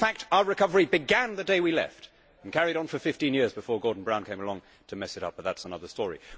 In fact, our recovery began the day we left and carried on for 15 years before Gordon Brown came along to mess it up, but that is another story.